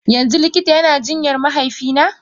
Yanzu likita yana jinyar mahaifina?